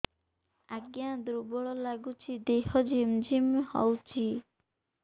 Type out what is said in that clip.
ଆଜ୍ଞା ଦୁର୍ବଳ ଲାଗୁଚି ଦେହ ଝିମଝିମ ହଉଛି